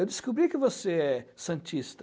Eu descobri que você é santista.